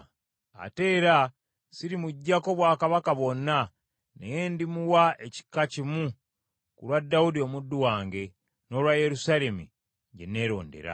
Ate era sirimuggyako bwakabaka bwonna, naye ndimuwa ekika kimu ku lwa Dawudi omuddu wange, n’olwa Yerusaalemi, kye neerondera.”